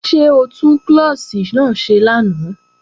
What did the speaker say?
Ṣé o tún klọ́ọ̀ṣì náà ṣe lánàá?